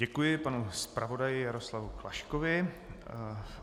Děkuji panu zpravodaji Jaroslavu Klaškovi.